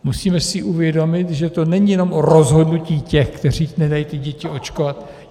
Musíme si uvědomit, že to není jenom o rozhodnutí těch, kteří nedají ty děti očkovat.